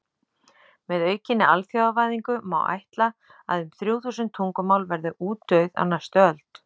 Með aukinni alþjóðavæðingu má ætla að um þrjú þúsund tungumál verði útdauð á næstu öld.